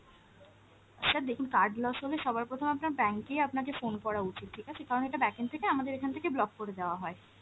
sir দেখুন card loss হলে সবার প্রথম আপনার bank এই আপনাকে phone করা উচিৎ ঠিক আছে, কারণ এটা backend থেকে আমাদের এখান থেকে block করে দেওয়া হয়।